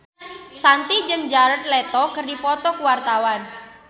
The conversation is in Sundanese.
Shanti jeung Jared Leto keur dipoto ku wartawan